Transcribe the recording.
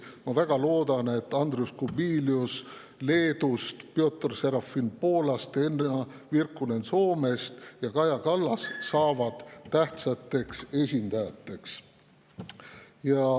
Ma väga loodan, et Andrius Kubilius Leedust, Piotr Serafin Poolast, Henna Virkkunen Soomest ja Kaja Kallas saavad tähtsateks esindajateks.